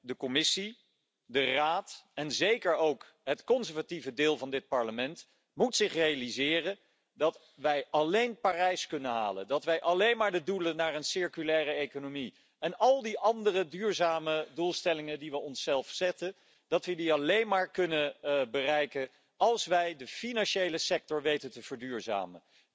De Commissie, de Raad en zeker ook het conservatieve deel van dit Parlement moeten zich realiseren dat wij alleen Parijs kunnen halen, dat wij de doelen van een circulaire economie en al die andere duurzame doelstellingen die we onszelf zetten, alleen maar kunnen bereiken als wij de financiële sector weten te verduurzamen.